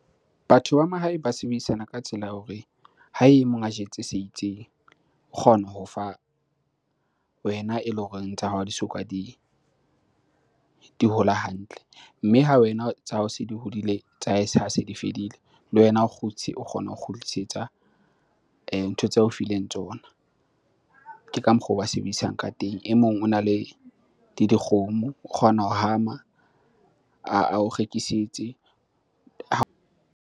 Batho ba mahae ba sebedisana ka tsela ya hore ha e mong a jetse se itseng, o kgona ho fa wena eleng horeng tsa hao ha di soka di hola hantle. Mme ha wena tsa hao se di hodile tsa hae se ha di fedile, le wena o kgotshe, o kgona ho kgutlisetsa ntho tseo ao fileng tsona. Ke ka mokgwa oo ba sebedisang ka teng. E mong ona le dikgomo, o kgona ho hama ao rekisetse .